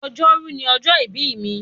Ọjọ́rú ni ọjọ́ ìbí mi.